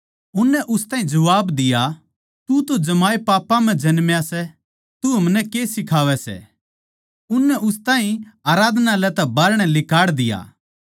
उननै उस ताहीं जबाब दिया तू तो जमाए पापां म्ह जन्मा सै तू हमनै के सिखावै सै अर उननै उस ताहीं आराधनालय तै बाहरणै लिकाड़ दिया